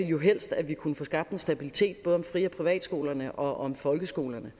jo helst at vi kunne få skabt en stabilitet både om fri og privatskolerne og om folkeskolerne